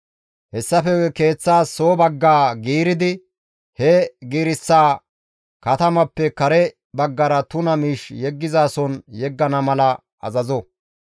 Hessafe guye keeththaas soo bagga giiridi he giireththaza katamappe kare baggara tuna miish yeggizason yeggana mala azazo.